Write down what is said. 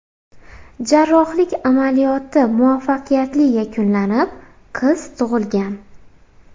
Jarrohlik amaliyoti muvaffaqiyatli yakunlanib, qiz tug‘ilgan.